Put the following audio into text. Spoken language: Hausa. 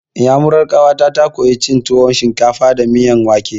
Iyamuran ƙawata ta koya cin tuwon shinkafa da miyan wake.